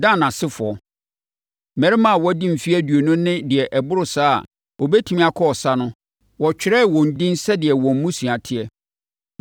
Dan asefoɔ: Mmarima a wɔadi mfeɛ aduonu ne deɛ ɛboro saa a wɔbɛtumi akɔ ɔsa no, wɔtwerɛɛ wɔn edin sɛdeɛ wɔn mmusua teɛ.